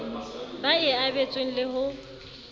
ba e abetsweng le ho